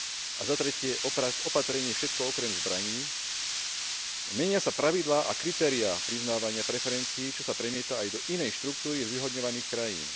a 3 opatrenie Všetko okrem zbraní, menia sa pravidlá a kritériá priznávania preferencií, čo sa premieta aj do inej štruktúry zvýhodňovaných krajín.